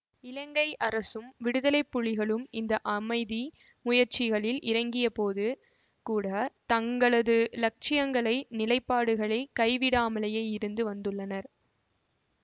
இலங்கை அரசும் விடுதலைப்புலிகளும் இந்த அமைதி முயற்சிகளில் இறங்கியபோது கூட தங்களது இலட்சியங்களை நிலைப்பாடுகளை கைவிடாமலேயே இருந்து வந்துள்ளனர்